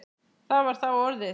Það var þá orðið!